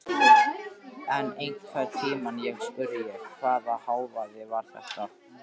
En einhvern tímann spurði ég: Hvaða hávaði var þetta?